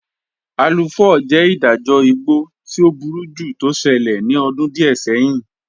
Aluu 4 jẹ́ ìdájọ̀ ìgbọ̀ tí ọ̀ búrújú tó ṣẹlẹ̀ ní ọ̀dún díẹ̀ sẹ̀hìn.